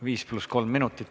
Viis pluss kolm minutit.